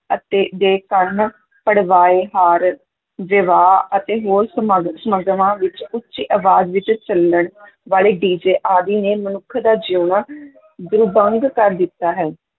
ਅਤੇ ਦੇ ਕੰਨ ਪੜਵਾਏ, ਹਾਰ, ਵਿਵਾਹ ਅਤੇ ਹੋਰ ਸਮਾਗ~ ਸਮਾਗਮਾਂ ਵਿੱਚ ਉੱਚੀ ਅਵਾਜ਼ ਵਿੱਚ ਚੱਲਣ ਵਾਲੇ DJ ਆਦਿ ਨੇ ਮਨੁੱਖ ਦਾ ਜਿਉਣਾ ਦੁਰਭੰਗ ਕਰ ਦਿੱਤਾ ਹੈ।